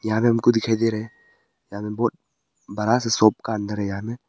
यहां पे हमको दिखाई दे रहा है यहां पे बहुत बड़ा सा शॉप का अंदर है यहां में।